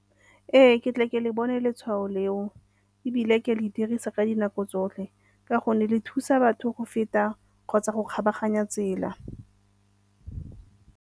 Ee, ke tle ke le bone letshwao leo ebile ke a le dirisa ka dinako tsotlhe ka gonne le thusa batho go feta kgotsa go kgabaganya tsela.